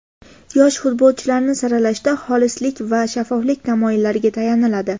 Yosh futbolchilarni saralashda xolislik va shaffoflik tamoyillariga tayaniladi.